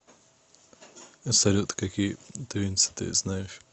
салют какие тувинцы ты знаешь